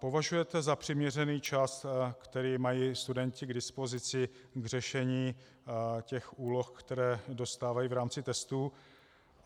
Považujete za přiměřený čas, který mají studenti k dispozici k řešení těch úloh, které dostávají v rámci testů?